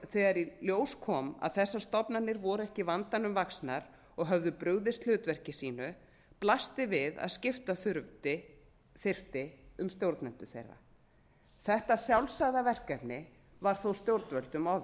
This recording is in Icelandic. þegar í ljós kom að þessar stofnanir voru ekki vandanum vaxnar og höfðu brugðist hlutverki sínu blasti við að skipta þyrfti um stjórnendur þeirra þetta sjálfsagða verkefni var þó stjórnvöldum